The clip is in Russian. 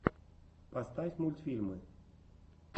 поставь мультфильмы